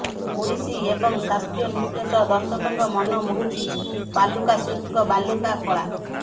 ଓଡ଼ିଶୀ ଏବଂ ଶାସ୍ତ୍ରୀୟ ନୃତ୍ୟ ସହ ଦର୍ଶକଙ୍କ ମନମୋହୁଛି ବାଲୁକା ଶିଳ୍ପୀଙ୍କ ବାଲୁକା କଳା